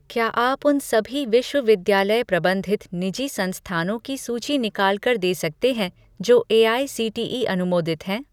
क्या आप उन सभी विश्वविद्यालय प्रबंधित निजी संस्थानों की सूची निकाल कर दे सकते हैं जो एआईसीटीई अनुमोदित हैं?